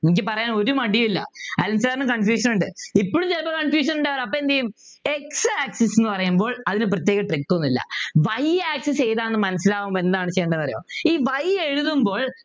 എനിക്ക് പറയാൻ ഒരു മടിയും ഇല്ല അനിൽ sir നു confusion ഉണ്ട് ഇപ്പോളും ചിലപ്പോ confusion ഉണ്ടാകാറുണ്ട് അപ്പൊ എന്ത് ചെയ്യും x axis ന്നു പറയുമ്പോൾ അതിനു പ്രത്യേക trick ഒന്നും ഇല്ല y axis ഏതാണ് മനസിലാവുമ്പോ എന്താണ് ചെയ്യണ്ടത്ന്നു അറിയോ ഈ y എഴുതുമ്പോൾ